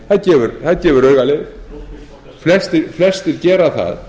það gefur auga leið flestir gera það